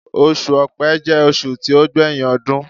Osù Ọ̀pẹ jẹ́ oṣù tí ó gbé yín ọdún.